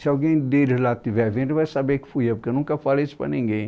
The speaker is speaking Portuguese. Se alguém deles lá estiver vendo, vai saber que fui eu, porque eu nunca falei isso para ninguém.